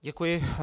Děkuji.